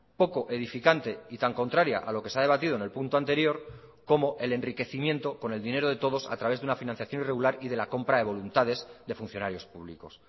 poco edificante y tan contraria a lo que se ha debatido en el punto anterior como el enriquecimiento con el dinero de todos a través de una financiación irregular y de la compra de voluntades de funcionarios públicos